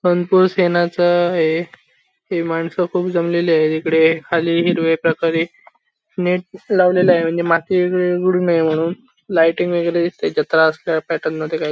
संतोष येण्याच हे हे मानस खूप जमलेले आहे इकडे खाली हिरवे प्रकारे नेट लावलेल्या आहे म्हणजे माती नये म्हणून लाईटिंग वगैरे दिसतीये प्याटर्ण मधे काय --